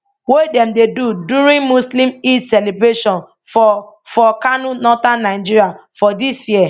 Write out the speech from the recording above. wey dem dey do during muslim eid celebration for for kano northern nigeria for dis year